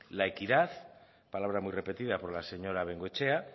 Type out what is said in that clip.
la equidad palabra muy repetida por la señora bengoechea